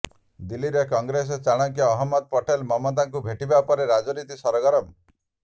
ଦିଲ୍ଲୀରେ କଂଗ୍ରେସ ଚାଣକ୍ୟ ଅହମଦ ପଟେଲ ମମତାଙ୍କୁ ଭେଟିବା ପରେ ରାଜନୀତି ସରଗରମ